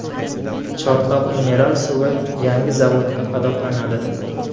Chortoq mineral suvi yangi zavodda qadoqlanadi.